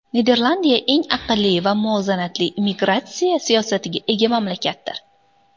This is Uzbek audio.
Niderlandiya eng aqlli va muvozanatli immigratsiya siyosatiga ega mamlakatdir.